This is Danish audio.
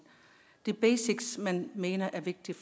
de basics man mener er vigtige